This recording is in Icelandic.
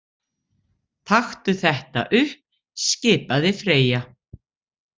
Taktu þetta upp, skipaði Freyja.